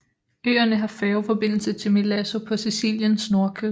Øerne har færgeforbindelse til Milazzo på Siciliens nordkyst